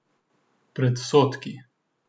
Predsodki.